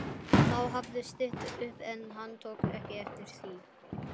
Þá hafði stytt upp en hann tók ekki eftir því.